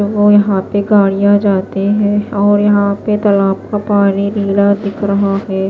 ब यहां पे गाड़ियां जाते हैंऔर यहां पे तालाब का पानी लीला दिख रहा है।